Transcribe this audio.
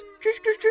Fut, küş, küş, küş!